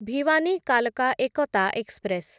ଭିୱାନୀ କାଲକା ଏକତା ଏକ୍ସପ୍ରେସ